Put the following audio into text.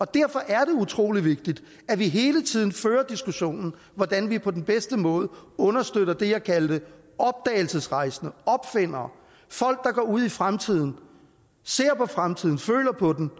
derfor er det utrolig vigtigt at vi hele tiden fører diskussionen om hvordan vi på den bedste måde understøtter dem jeg kaldte opdagelsesrejsende opfindere folk der går ud i fremtiden og ser på fremtiden føler på den